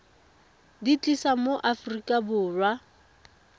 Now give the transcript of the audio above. di tlisa mo aforika borwa